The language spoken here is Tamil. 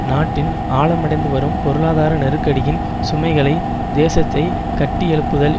நாட்டின் ஆழமடைந்துவரும் பொருளாதார நெருக்கடியின் சுமைகளை தேசத்தை கட்டியெழுப்புதல்